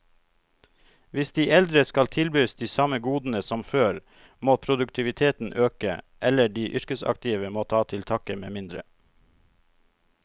Hvis de eldre skal tilbys de samme godene som før, må produktiviteten øke, eller de yrkesaktive må ta til takke med mindre.